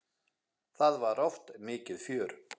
Það var oft mikið fjör.